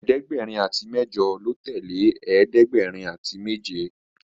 ẹ̀ẹ́dẹ̀gbẹ̀rin àti mẹjọ lọ tẹle ẹ̀ẹ́dẹ̀gbẹ̀rin àti méje